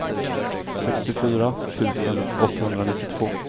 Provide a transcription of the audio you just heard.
sextiofyra tusen åttahundranittiotvå